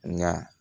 Nka